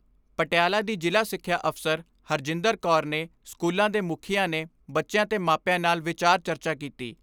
ਪਟਿਆਲਾ ਦੀ ਜ਼ਿਲ੍ਹਾ ਸਿੱਖਿਆ ਅਫ਼ਸਰ ਹਰਿੰਦਰ ਕੌਰ ਨੇ ਸਕੂਲਾਂ ਦੇ ਮੁਖੀਆਂ ਨੇ ਬੱਚਿਆਂ ਤੇ ਮਾਪਿਆਂ ਨਾਲ ਵਿਚਾਰ ਚਰਚਾ ਕੀਤੀ।